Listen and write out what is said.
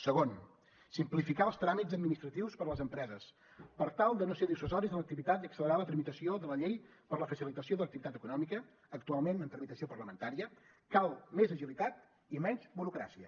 segon simplificar els tràmits administratius per a les empreses per tal de no ser dissuasius en l’activitat i accelerar la tramitació de la llei per a la facilitació de l’activitat econòmica actualment en tramitació parlamentària cal més agilitat i menys burocràcia